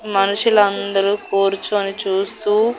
మనుషులందరూ కూర్చొని చూస్తూ--